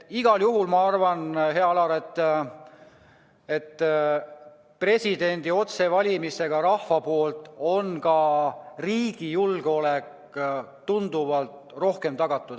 Igal juhul ma arvan, hea Alar, et presidendi otsevalimisega rahva poolt on ka riigi julgeolek tunduvalt rohkem tagatud.